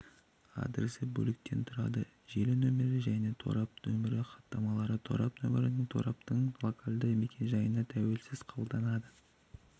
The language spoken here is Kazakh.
адресі бөліктен тұрады желі нөмірі және торап нөмірі хаттамалары торап нөмірі тораптың локальды мекен-жайына тәуелсіз қабылданады